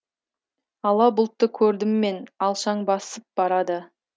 ала бұлтты көрдіммен алшаң басыпбарады